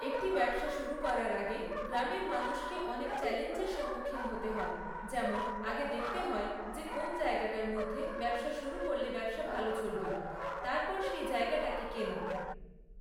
একটি ব্যবসা শুরু করার আগে গ্রামের মানুষকে অনেক চ্যালেঞ্জের সন্মুখীন হতে হয়, যেমন আগে দেখতে হয় যে কোন্‌ জায়গাটার মধ্যে ব্যবসা শুরু করলে ব্যবসা ভালো চলবে, তারপর সেই জায়গাটাকে কেনা